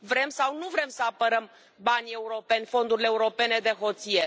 Vrem sau nu vrem să apărăm banii europeni, fondurile europene de hoție?